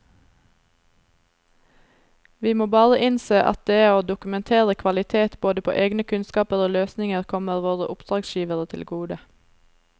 Vi må bare innse at det å dokumentere kvalitet både på egne kunnskaper og løsninger kommer våre oppdragsgivere til gode.